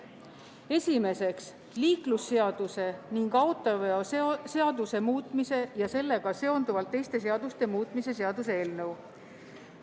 Esiteks, liiklusseaduse ning autoveoseaduse muutmise ja sellega seonduvalt teiste seaduste muutmise seaduse eelnõu.